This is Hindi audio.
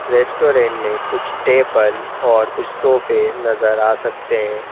रेस्टोरेंट में कुछ टेबल और कुछ सोफे नजर आ सकते हैं।